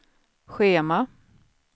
schema